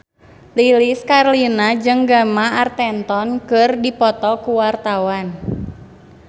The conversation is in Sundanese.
Lilis Karlina jeung Gemma Arterton keur dipoto ku wartawan